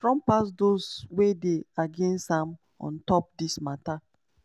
trump pass those wey dey against am on top dis mata.